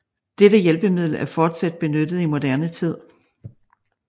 Dette hjælpemiddel er fortsat benyttet i moderne tid